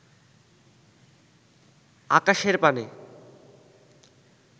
আকাশের পানে